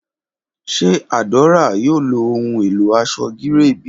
Ṣe Adaora yoo lo ohun elo aṣọ gíréè bi?